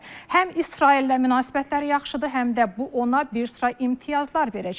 Həm İsraillə münasibətləri yaxşıdır, həm də bu ona bir sıra imtiyazlar verəcək.